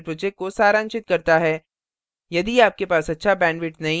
यह spoken tutorial project को सारांशित करता है